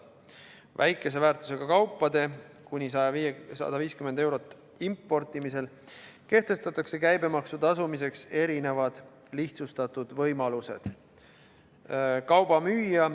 Väikese väärtusega, kuni 150 eurot maksvate kaupade importimisel kehtestatakse käibemaksu tasumiseks erinevad lihtsustatud võimalused.